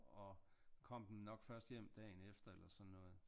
Og kom den nok først hjem dagen efter eller sådan noget